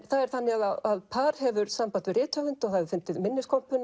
það er þannig að par hefur samband við rithöfund hefur fundið